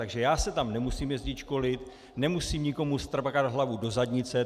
Takže já se tam nemusím jezdit školit, nemusím nikomu strkat hlavu do zadnice.